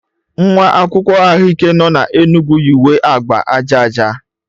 nwa akwụkwọ ahụike nọ na Enugwu yi uwe agba aja aja